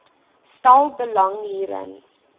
stel belang hierin